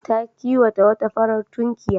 Ta kiwata wata farar tukunya.